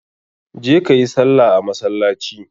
Je kayi sallah a masalaci!